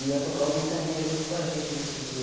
E ia tocar o Ventania junto com a gente nesse dia.